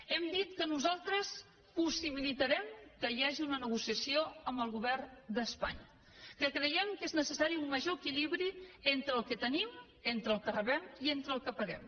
hem dit que nosaltres possibilitarem que hi hagi una negociació amb el govern d’espanya que creiem que és necessari un major equilibri entre el que tenim entre el que rebem i entre el que paguem